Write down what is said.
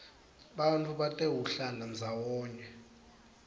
bantfu batewuhlala ndzawonye